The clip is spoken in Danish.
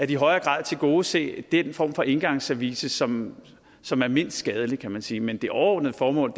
i højere grad at tilgodese den form for engangsservice som som er mindst skadelig kan man sige men det overordnede formål